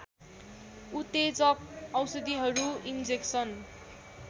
उत्तेजक औषधिहरू इन्जेक्सन